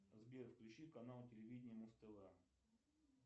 сбер включи канал телевидения муз тв